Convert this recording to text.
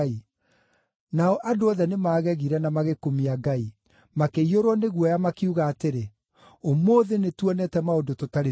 Nao andũ othe nĩmagegire na magĩkumia Ngai. Makĩiyũrwo nĩ guoya, makiuga atĩrĩ, “Ũmũthĩ nĩtuonete maũndũ tũtarĩ tuona.”